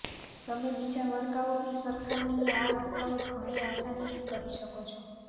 તમે બીજા વર્કઆઉટની સરખામણીએ આ વર્કઆઉટ ઘણી આસાનીથી કરી શકો છો